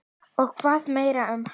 Og hvað meira um hana?